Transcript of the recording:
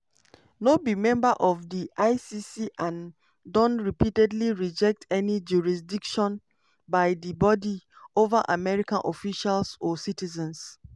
no be member of di icc and don repeatedly reject any jurisdiction by di body over american officials or citizens.